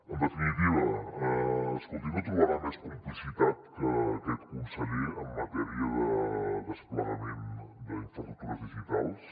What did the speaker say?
en definitiva escolti no trobarà més complicitat que en aquest conseller en matèria de desplegament d’infraestructures digitals